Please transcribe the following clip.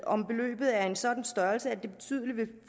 om beløbet er af en sådan størrelse at det vil